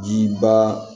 Jiba